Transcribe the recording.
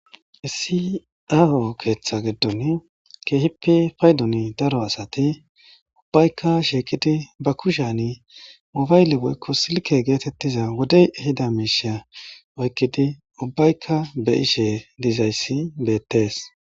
issi ao keeththa giddon keehippi paydon daro asati ubbayka sheekidi ba kushyani obaayle woykko silke geetettiza wodey hida miishea oykkidi ubbaykka be ishe diizayssi beettees